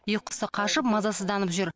ұйқысы қашып мазасызданып жүр